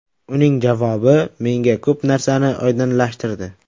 Uning javobi menga ko‘p narsani oydinlashtirdi.